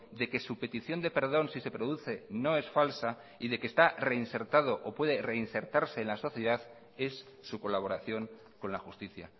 de que su petición de perdón si se produce no es falsa y de que está reinsertado o puede reinsertarse en la sociedad es su colaboración con la justicia